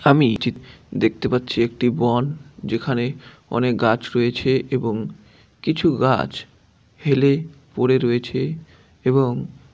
আমি এই চি দেখতে পাচ্ছি একটি বন। যেখানে অনেক গাছ রয়েছে এবং কিছু গাছ হেলে পড়ে রয়েছে এবং--